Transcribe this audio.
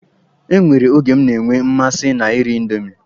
E nwere oge m na-enwe mmasị na iri indomi.